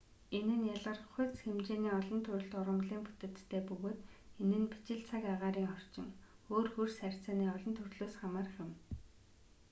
энэ нь ялгархуйц хэмжээний олон төрөлт ургамалын бүтэцтэй бөгөөд энэ нь бичил цаг агаарынын орчин өөр хөрс харьцааны олон төрлөөс хамаарах юм